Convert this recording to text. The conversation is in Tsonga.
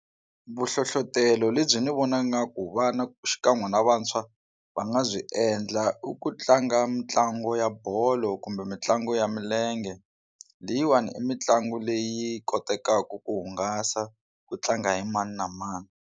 Vu hlohlotelo lebyi ni vona nga ku vana xikan'we na vantshwa va nga byi endla i ku tlanga mitlangu ya bolo kumbe mitlangu ya milenge leyiwani i mitlangu leyi kotekaka ku hungasa ku tlanga hi mani na mani.